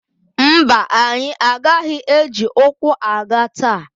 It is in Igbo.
Mba, anyị agaghị eji ụkwụ aga taa.